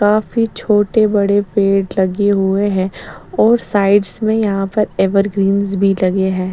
काफी छोटे-बड़े पेड़ लगे हुए हैं और साइड्स में यहाँ पर एवरग्रीन्स भी लगे हैं।